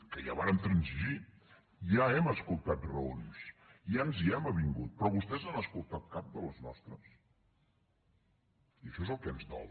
que ja vàrem transigir ja hem escoltat raons ja ens hi hem avingut però vostès n’han escoltat cap de les nostres i això és el que ens dol